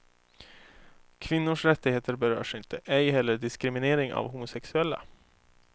Kvinnors rättigheter berörs inte, ej heller diskriminering av homosexuella.